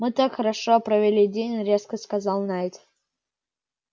мы так хорошо провели день резко сказал найд